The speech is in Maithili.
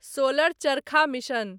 सोलर चरखा मिशन